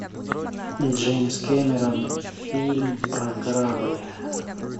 джеймс кэмерон фильм про корабль